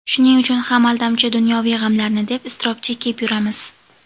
Shuning uchun ham aldamchi dunyoviy g‘amlarni deb iztirob chekib yuramiz.